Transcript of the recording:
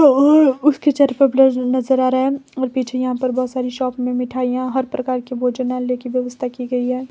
उसके चेहरे पर ब्लर नजर आ रहा है और पीछे यहां पर बहोत सारी शॉप में मिठाइयां हर प्रकार के भोजनयाल की व्यवस्था की गई है।